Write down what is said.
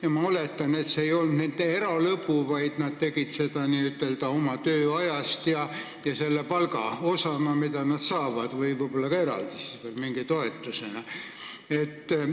Ja ma oletan, et see ei olnud nende eralõbu, vaid nad tegid seda oma tööajast ja selle palga eest, mida nad saavad, või siis ehk ka eraldi mingi toetuse eest.